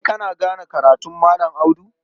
Kai kana gane karatun Malam Audu?